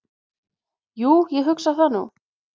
"""Jú, ég hugsa það nú."""